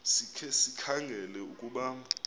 sikhe sikhangele ukuba